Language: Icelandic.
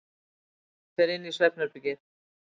Fer inn í svefnherbergið.